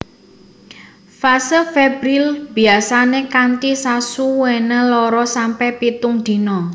Fase febrile biyasane kanthi sasuwene loro sampe pitung dina